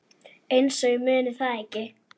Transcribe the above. Einsog ég muni það ekki!